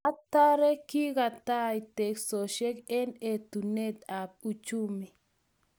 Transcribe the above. Atare, kikotoit teksosiek eng etunot ab uchumi